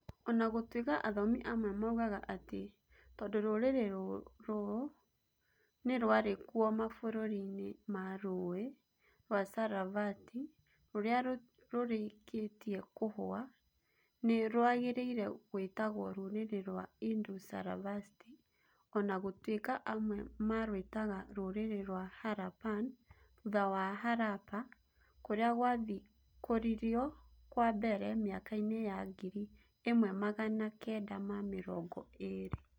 O na gũtuĩka athomi amwe moigaga atĩ, tondũ rũrĩrĩ rũu nĩ rwarĩ kuo mabũrũri-inĩ ma Rũũĩ rwa Sarasvati rũrĩa rũrĩkĩtie kũhũa, nĩ rũagĩrĩire gwĩtagwo rũrĩrĩ rwa Indus-Sarasvati, o na gũtuĩka amwe marwĩtaga rũrĩrĩ rwa Harappan thutha wa Harappa, kũrĩa gwathikũrirũo kwa mbere mĩaka-inĩ ya ngiri ĩmwe magana kenda na mĩrongo ĩĩrĩ [1920].